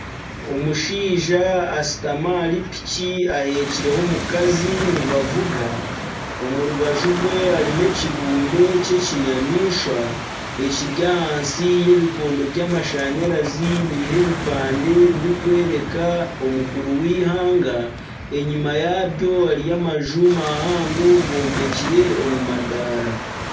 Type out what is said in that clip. Omushaija ashutami ahari piki aheekireho omukazi nibavuga omu rubaju rwe harimu ekibumbe ky'ekinyamaishwa ekiri ahansi y'ebikondo by'amashanyarazi biriho ebipande ebirikworeka omukuru w'eihanga enyuma yaabyo hariyo amaju gombekire omu madaara.